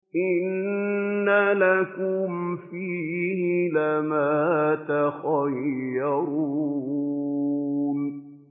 إِنَّ لَكُمْ فِيهِ لَمَا تَخَيَّرُونَ